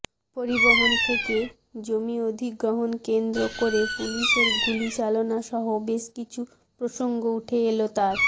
পরিবহণ থেকে জমিঅধিগ্রহণ কেন্দ্র করে পুলিসের গুলি চালনা সহ বেশ কিছু প্রসঙ্গ উঠে এল তাঁর